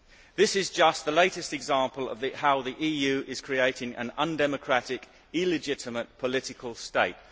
This is just the latest example of how the EU is creating an undemocratic, illegitimate political state.